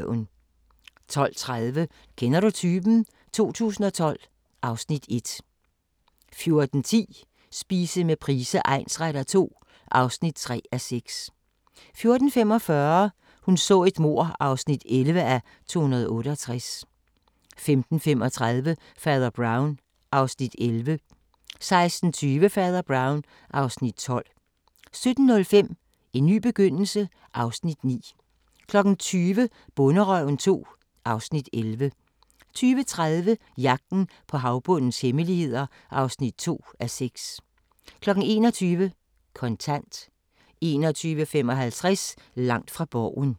12:30: Kender du typen? 2012 (Afs. 1) 14:10: Spise med Price egnsretter II (3:6) 14:45: Hun så et mord (11:268) 15:35: Fader Brown (Afs. 11) 16:20: Fader Brown (Afs. 12) 17:05: En ny begyndelse (Afs. 9) 20:00: Bonderøven (2:11) 20:30: Jagten på havbundens hemmeligheder (2:6) 21:00: Kontant 21:55: Langt fra Borgen